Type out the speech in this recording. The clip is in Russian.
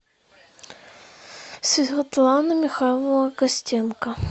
светлана михайловна костенко